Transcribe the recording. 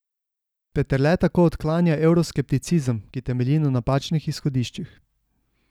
Peterle tako odklanja evroskepticizem, ki temelji na napačnih izhodiščih.